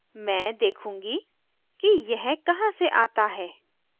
मैं देखूंगी कि यह कहाँ से आता है